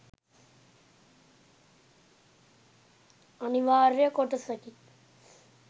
අනිවාර්ය කොටසකි.